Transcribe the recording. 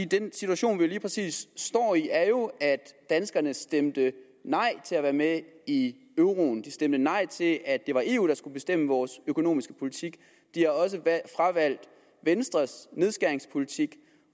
den situation vi lige præcis står i er jo at danskerne stemte nej til at være med i euroen de stemte nej til at det var eu der skulle bestemme vores økonomiske politik de har også fravalgt venstres nedskæringspolitik